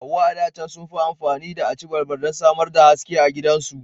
Hauwa a da can sun fi ammafi da aci balbal don samar da haske a gidajensu.